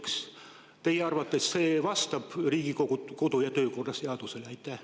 Kas teie arvates vastab see Riigikogu kodu- ja töökorra seadusele?